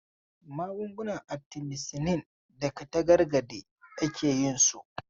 Magungunan Atimisinin daga tazargade ake yin su.